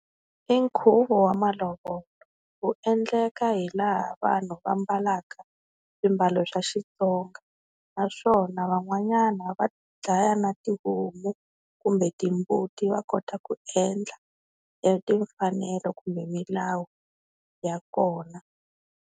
I nkhuvo wa malovolo wu endleka hi laha vanhu va mbalaka swimbalo swa Xitsonga naswona van'wanyana va dlaya na tihomu kumbe timbuti va kota ku endla e timfanelo kumbe milawu ya kona.